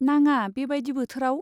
नाङा, बेबायदि बोथोराव?